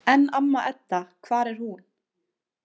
En amma Edda, hvar er hún?